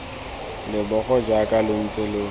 leboga jaaka lo ntse lo